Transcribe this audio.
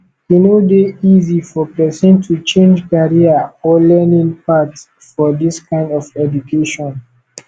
e no dey easy for person to change career or learning path for this kind of education